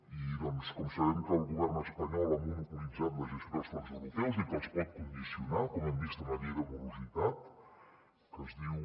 i com sabem que el govern espanyol ha monopolitzat la gestió dels fons europeus i que els pot condicionar com hem vist amb la llei de morositat que es diu